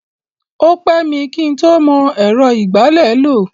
O pẹ́ mi kí ń tó mọ ẹ̀rọ ìgbálẹ̀ lò.